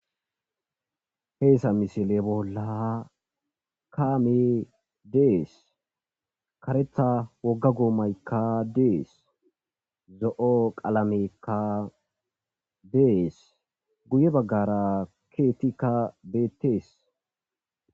heesa misile bolla kaame dees karetha wogga goomaykka dees zo7o qalamekka dees guye baggara keetikka beettees